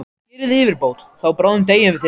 Gerið yfirbót, því bráðum deyið þið öll!